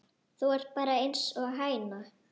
Þú ert bara einsog hæna.